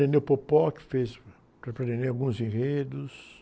que fez o próprio alguns enredos.